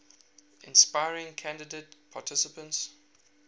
inspiring candidate participants